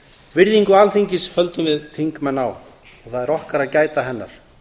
virðingu alþingis höldum við þingmenn á og það er okkar að gæta hennar